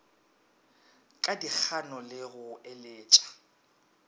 ka dikgano le go eletša